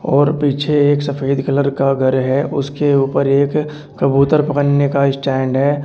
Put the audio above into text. और पीछे एक सफेद कलर का घर है उसके ऊपर एक कबूतर पकड़ने का स्टैंड है।